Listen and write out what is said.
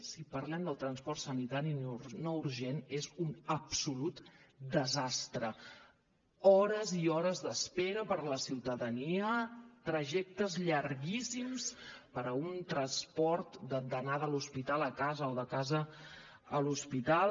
si parlem de transport sanitari no urgent és un absolut desastre hores i hores d’espera per a la ciutadania trajectes llarguíssims per un transport d’anada de l’hospital a casa o de casa a l’hospital